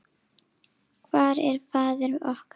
Hvar er faðir okkar?